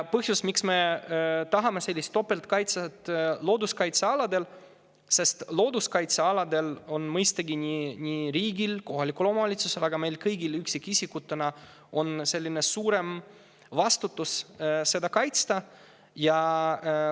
Põhjus, miks me tahame looduskaitsealadele sellist topeltkaitset, on see, et mõistagi on riigil, kohalikul omavalitsusel ja ka meil kõigil üksikisikutena suurem vastutus looduskaitsealasid kaitsta.